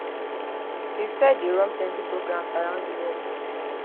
usaid dey run plenty programmes around di world